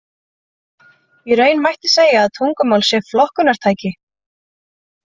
Í raun mætti segja að tungumál sé flokkunartæki.